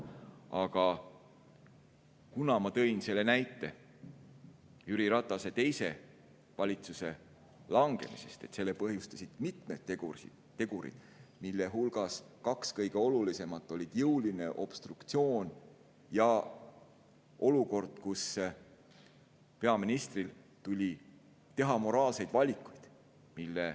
Aga ma tõin näite Jüri Ratase teise valitsuse langemisest ja sellest, et selle põhjustasid mitmed tegurid, mille hulgas kaks kõige olulisemat olid jõuline obstruktsioon ja olukord, kus peaministril tuli teha moraalseid valikuid.